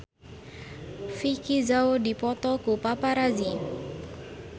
Vicki Zao dipoto ku paparazi